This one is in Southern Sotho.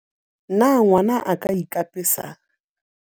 Na ngwana a ka ikapesa?